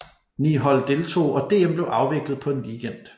Ni hold deltog og DM blev afviklet på en weekend